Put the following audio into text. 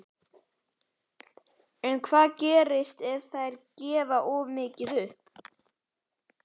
En hvað gerist ef þær gefa of mikið upp?